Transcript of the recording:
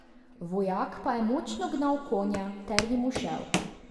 Vojak pa je močno gnal konja ter jim ušel.